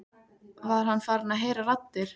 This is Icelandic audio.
Var hann farinn að heyra raddir?